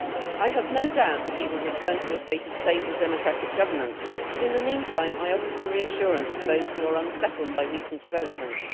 I have no doubt that we will return to a state of stable democratic governance but, in the meantime, I offer some reassurance to those who are unsettled by recent developments.